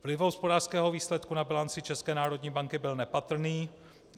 Vliv hospodářského výsledku na bilanci České národní banky byl nepatrný.